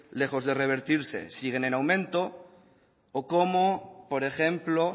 lejos de revertirse siguen en aumento o como por ejemplo